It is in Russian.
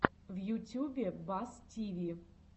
в ютюбе бас тиви